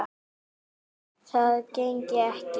Það gengi ekki